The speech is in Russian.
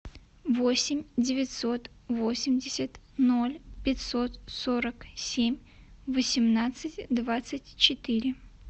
восемь девятьсот восемьдесят ноль пятьсот сорок семь восемнадцать двадцать четыре